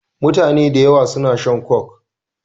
Mutane dayawa suna shan coke